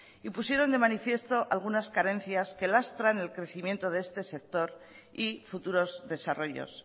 y pusieron de manifiesto algunas carencias que lastran el crecimiento de este sector y futuros desarrollos